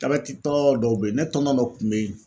Jabɛti tɔ dɔw be yen ne tɔntɔn dɔ kun be yen